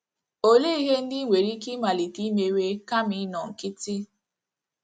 Olee ihe ndị i nwere ike ịmalite mewe kama ịnọ nkịtị?